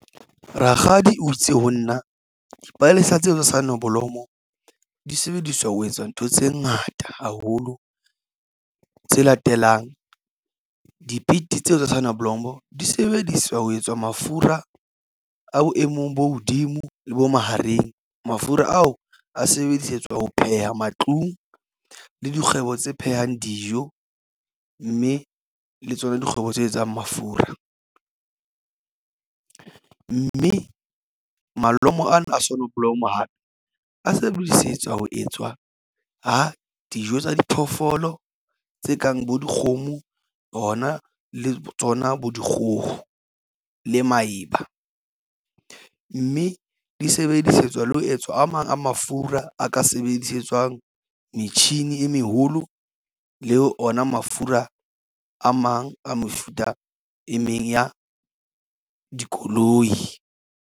Rakgadi o itse ho nna dipalesa tseo tsa sonoblomo di sebediswa ho etsa ntho tse ngata haholo tse latelang di pete tseo tsa soneblomo di sebediswa ho etswa mafura a boemong bo hodimo le bo mahareng. Mafura ao a sebedisetswa ho pheha matlung le dikgwebo tse phehang dijo mme le tsona dikgwebo tse etsang mafura mme malomo ana a sonoblomo hape a sebedisetswa ho etswa dijo tsa diphoofolo tse kang bo dikgomo hona le tsona bo dikgoho le maeba, mme di sebedisetswa le ho etswa a mang a mafura a ka sebedisetswang metjhini e meholo le ona mafura a mang a mefuta e meng ya dikoloi.